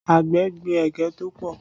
Àgbẹ̀ gbin ẹ̀gẹ́ tó pọ̀